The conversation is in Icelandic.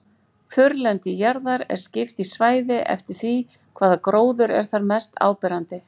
Þurrlendi jarðar er skipt í svæði eftir því hvaða gróður er þar mest áberandi.